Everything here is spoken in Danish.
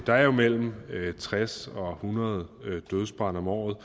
der er mellem tres og hundrede dødsbrande om året